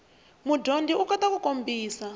mudyondzi u kota ku kombisa